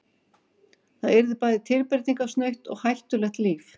Það yrði bæði tilbreytingarsnautt og hættulegt líf.